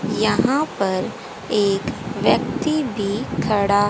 यहां पर एक व्यक्ति भी खड़ा--